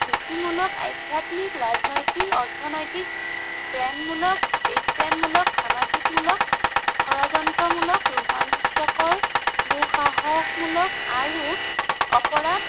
নীতিমূলক, আধ্য়াত্মিক, ৰাজনৈতিক, অৰ্থনৈতিক, প্ৰেমমূলক, দেশপ্ৰেমমূলক, সামাজিকমূলক, ষড়যন্ত্ৰমূলক, ৰোমাঞ্চকৰ, দুঃসাহসমূলক আৰু অপৰাধ